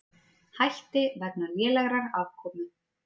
Hætti vegna lélegrar afkomu